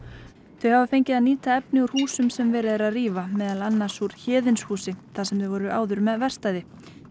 þau hafa fengið að nýta efni úr húsum sem verið er að rífa meðal annars úr þar sem þau voru áður með verkstæði